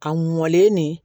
Ka mɔlen nin